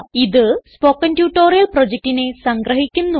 ഇത് spoken tutorial പ്രൊജക്റ്റിനെ സംഗ്രഹിക്കുന്നു